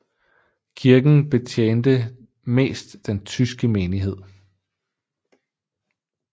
Kirken betjente mest den tyske menighed